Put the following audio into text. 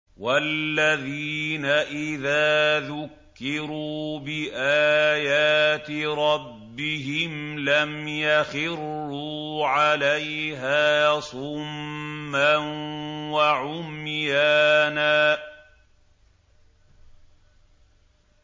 وَالَّذِينَ إِذَا ذُكِّرُوا بِآيَاتِ رَبِّهِمْ لَمْ يَخِرُّوا عَلَيْهَا صُمًّا وَعُمْيَانًا